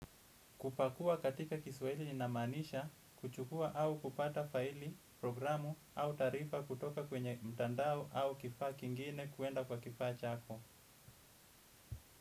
Kupakua katika kiswaili linamaanisha, kuchukua au kupata faili, programu au taarifa kutoka kwenye mtandao au kifaa kingine kwenda kwa kifaa chako.